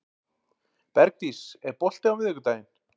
Bergdís, er bolti á miðvikudaginn?